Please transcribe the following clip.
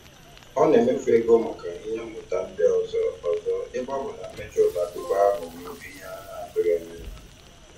Ọ na-emefu ego maka ihe mmụta ndị ọzọ ọzọ ebe ọ bụ na mmechi ụlọ akwụkwọ aghọwo ihe a na-atụghị anya ya.